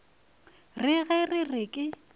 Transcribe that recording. re ge re re ke